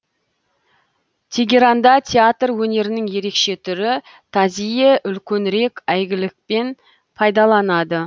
тегеранда театр өнерінің ерекше түрі тазийе үлкенірек әйгілікпен пайдаланады